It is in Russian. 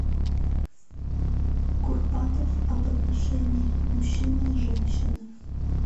курпатов об отношении мужчины и женщины